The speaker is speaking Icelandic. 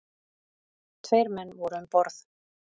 Tveir menn voru um borð.